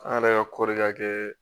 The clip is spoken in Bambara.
An yɛrɛ ka kɔɔri ka kɛ